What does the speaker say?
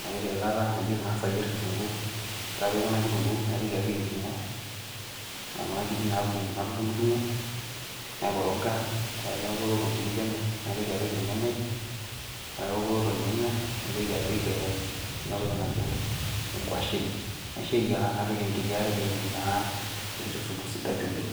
napik eilata, nang'as ayier kitunguu, ore ake pee eoku ena kitunguu naitoki apik enkiring'o, nkirik natund'dung'o, naikoroga ore ake peeku eoto nkirik penyo naitoki apik irnyanyai. Ore ake peeku eoto irnyanya, naitoki apik ena toki najo ng'washen naisho eyiara napik enkiti are peetum enkiti supu sidai oleng'.